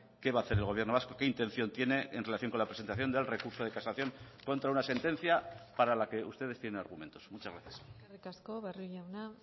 qué va a hacer el gobierno vasco qué intención tiene en relación con la presentación del recurso de casación contra una sentencia para la que ustedes tienen argumentos muchas gracias eskerrik asko barrio jauna